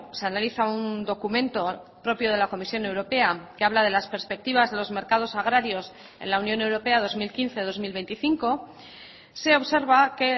se analiza un documento propio de la comisión europea que habla de las perspectivas de los mercados agrarios en la unión europea dos mil quince dos mil veinticinco se observa que